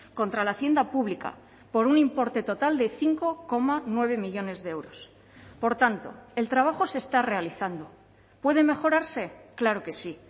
contra la hacienda pública por un importe total de cinco coma nueve millónes de euros por tanto el trabajo se está realizando puede mejorarse claro que sí